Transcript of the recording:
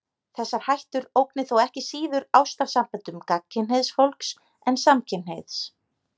Þessar hættur ógni þó ekki síður ástarsamböndum gagnkynhneigðs fólks en samkynhneigðs.